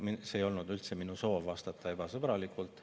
Minu soov ei olnud üldse vastata ebasõbralikult.